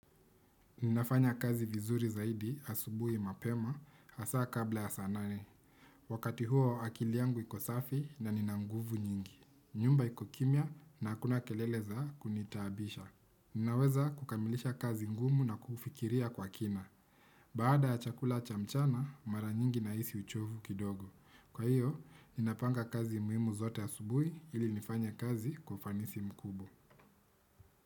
Ninafanya kazi vizuri zaidi asubui mapema hasa kabla ya saa nane. Wakati huo akili yangu iko safi na nina nguvu nyingi. Nyumba iko kimya na hakuna kelele za kunitabisha. Ninaweza kukamilisha kazi ngumu na kufikiria kwa kina. Baada ya chakula cha mchana mara nyingi nahisi uchovu kidogo. Kwa hiyo, inapanga kazi muhimu zote asubui ili nifanya kazi kwa ufanisi mkubwa.